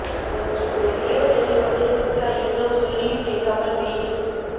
என்று எதையோ தேடிக் கொண்டே சித்ரா இவ்வளவு சொல்லியும் கேட்காமல் மீண்டும்